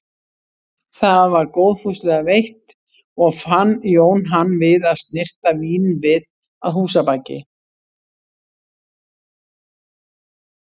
Það var góðfúslega veitt og fann Jón hann við að snyrta vínvið að húsabaki.